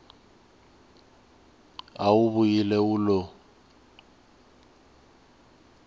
a wu vuyile wu lo